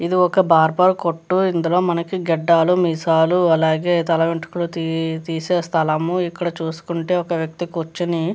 ఇది ఒక బార్బర్ కొట్టు. ఇందులో మనకి గడ్డలు మీసాలు అలాగే తల వెంట్రుకలు తి - తీసే స్థలము. ఇక్కడ చూసుకుంటే ఒక వ్యక్తి కూర్చుని --